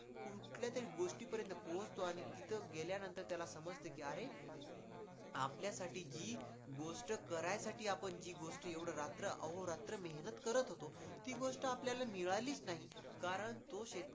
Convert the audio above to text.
कुठल्या तरी गोष्ट पर्यंत पोहोचतो आणि तिथं गेल्यानंर त्याला समजत कि अरे आपल्यासाठी जी गोष्ट करायसाठी आपण जी गोष्ट एवढ रात्र अहो रात्र मेहनत करत होतो, ती गोष्ट आपल्याला मिळालीच नाही कारण तो शेतकरी.